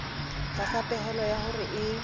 tlasa pehelo ya hore e